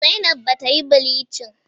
Zainab bata yi bilincin